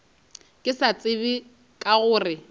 ke sa tsebe ka gore